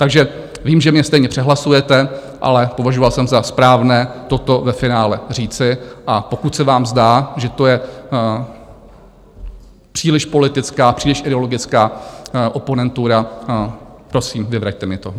Takže vím, že mě stejně přehlasujete, ale považoval jsem za správné toto ve finále říci, a pokud se vám zdá, že to je příliš politická, příliš ideologická oponentura, prosím, vyvraťte mi to.